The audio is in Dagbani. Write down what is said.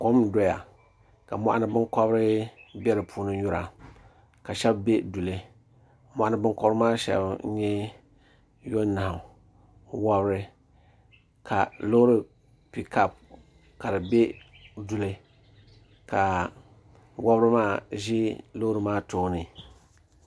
kom n doya ka moɣani binkobiri bɛ di puuni nyura ka shab bɛ duli moɣani binkobiri maa puuni shab n nyɛ yonahu wori ka loori piikap ka di bɛ duli ka wobiri maa bɛ loori kaa tooni